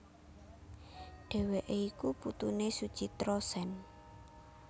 Dheweké iku putuné Suchitra Sen